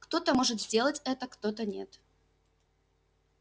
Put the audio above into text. кто-то может сделать это кто-то нет